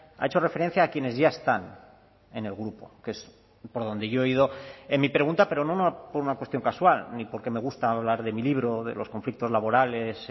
ha hecho referencia a quienes ya están en el grupo que es por donde yo he ido en mi pregunta pero no por una cuestión casual ni porque me gusta hablar de mi libro o de los conflictos laborales